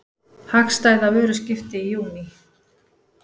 Hagstæða vöruskipti í júní